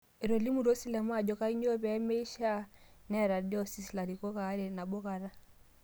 Etolimutuo silamu ajo kainyoo pee meshiaa neeta diocese larikok aare nabo kata